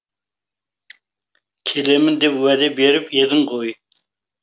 келемін деп уәде беріп едің ғой